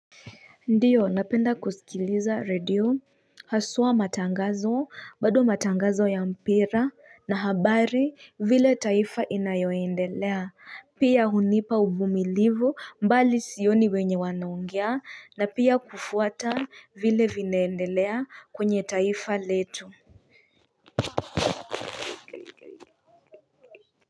Ndio napenda kusikiliza redio haswa matangazo bado matangazo ya mpira na habari vile taifa inayoendelea pia hunipa uvumilivu mbali sioni wenye wanaongea na pia kufuata vile vinaendelea kwenye taifa letu.